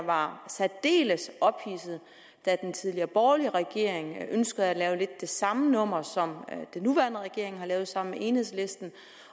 var særdeles ophidset da den tidligere borgerlige regering ønskede at lave lidt det samme nummer som den nuværende regering har lavet sammen med enhedslisten